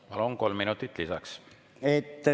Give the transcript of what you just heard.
Palun, kolm minutit lisaks!